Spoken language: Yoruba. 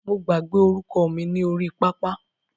Mo gbàgbé orúkọ mi ni orí pápá.